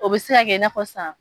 O bɛ se ka kɛ i n'a fɔ sisan